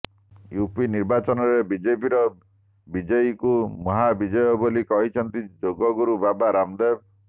UP ନିର୍ବାଚନରେ ବିଜେପିର ବିଜୟୀକୁ ମହାବିଜୟ ବୋଲି କହିଛନ୍ତି ଯୋଗଗୁରୁ ବାବା ରାମଦେବ